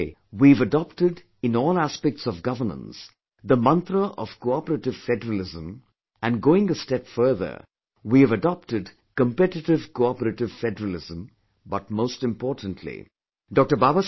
Today, we have adopted in all aspects of governance the mantra of cooperative federalism and going a step further, we have adopted competitive cooperative federalism but most importantly, Dr